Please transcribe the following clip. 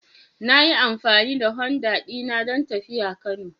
Na yi amfani da Honda dina don tafiya Kano.